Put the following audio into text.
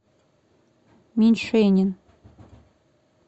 меньшенин